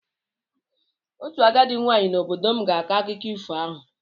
Otu agadi nwaanyị n'obodo m ga-akọ akụkọ ifo ahụ.